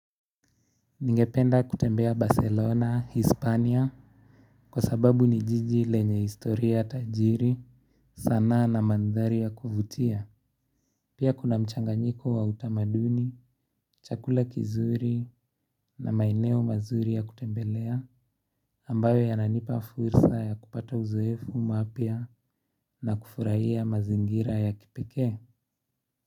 Ningependa kutembea Barcelona, Hispania, kwa sababu ni jiji lenye historia tajiri, sanaa na mandhari ya kuvutia. Pia kuna mchanganyiko wa utamaduni, chakula kizuri na maeneo mazuri ya kutembelea, ambayo yananipa fursa ya kupata uzoefu mpya na kufurahia mazingira ya kipekee.